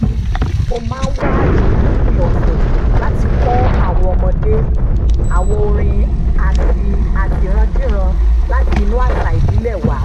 mo máa ń wá àyè lópin ọ̀sẹ̀ láti kọ́ àwọn ọmọdé ní àwọn orin àtirándíran láti inú àṣà ìbílẹ̀ wa